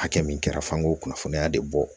Hakɛ min kɛra f'an k'o kunnafoniya de bɔ